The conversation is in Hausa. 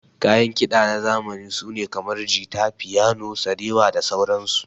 Kayan kida na zamani sune kamar, jita, fiyano, sarewa da sauran su.